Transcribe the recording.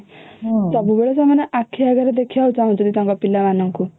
ସବୁବେଳେ ସେମାନେ ଆଖି ଆଗରେ ଦେଖିବାକୁ ଚାଁହୁଛନ୍ତି ତାଙ୍କ ପିଲାଙ୍କୁ